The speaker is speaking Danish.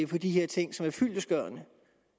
på de her ting som er fyldestgørende